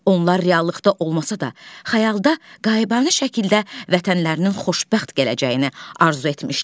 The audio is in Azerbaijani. Onlar reallıqda olmasa da, xəyalda qayıbanə şəkildə vətənlərinin xoşbəxt gələcəyini arzu etmişlər.